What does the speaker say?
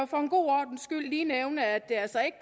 for en god ordens skyld lige nævne at det altså ikke